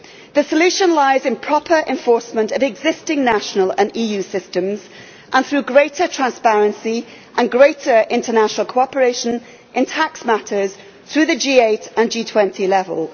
The solution lies in proper enforcement of existing national and EU systems and through greater transparency and greater international cooperation in tax matters through the G8 and G20 level.